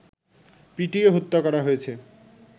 পিটিয়ে হত্যা করা হয়েছে